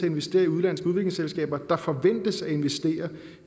investere i udenlandske udviklingsselskaber der forventes at investere